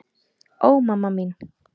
Ó, mamma mín.